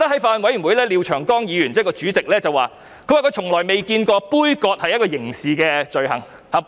法案委員會主席廖長江議員曾說，他從來未見過杯葛是一項刑事罪行。